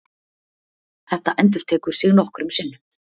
Þetta endurtekur sig nokkrum sinnum.